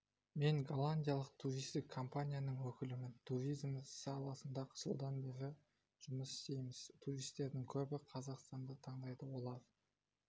мен голландиялық туристік компанияның өкілімін туризм саласында жылдан бері жұмыс істейміз туристердің көбі қазақстанды таңдайды олар